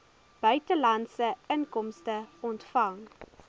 buitelandse inkomste ontvang